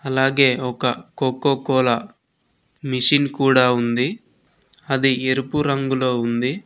అలాగే ఒక Coca Cola machine కూడా ఉంది అది ఎరుపు రంగులో ఉంది.